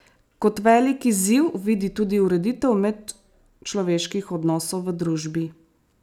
Kot velik izziv vidi tudi ureditev medčloveških odnosov v družbi.